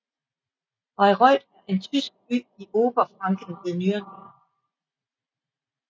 Bayreuth er en tysk by i Oberfranken ved Nürnberg